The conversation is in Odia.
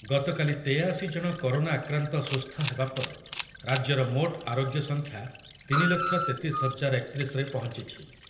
ଗତକାଲି ତେୟାଅଶି ଜଣ କରୋନା ଆକ୍ରାନ୍ତ ସୁସ୍ଥ ହେବା ପରେ ରାଜ୍ୟର ମୋଟ ଆରୋଗ୍ୟ ସଂଖ୍ୟା ତିନି ଲକ୍ଷ ତେତିଶ ହଜାର ଏକ ତିରିଶରେ ପହଞ୍ଚିଛି ।